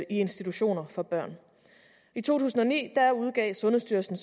institutioner for børn i to tusind og ni udgav sundhedsstyrelsen